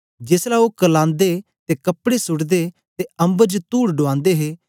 जेसलै ओ करलांदे ते कपड़े सूटदे ते अम्बर च तुड ढुआंदे हे